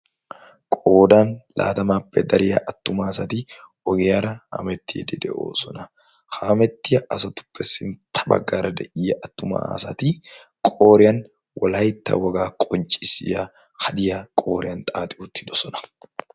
qoodan laatamaappe dariya attuma asati ogiyaara hamettiidi de7oosona. ha hamettiya asatuppe sintta baggaara de7iya attuma asati qooriyan wolaytta wogaa qonccissiya hadiya qooriyan xaaxi uttidosona.